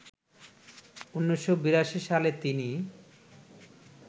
১৯৮২ সালে তিনি